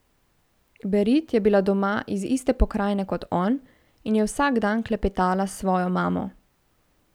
Berit je bila doma iz iste pokrajine kot on in je vsak dan klepetala s svojo mamo.